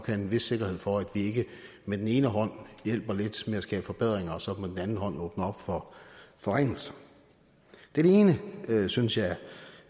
have en vis sikkerhed for at vi ikke med den ene hånd hjælper lidt med at skabe forbedringer og så med den anden hånd åbner op for forringelser det synes jeg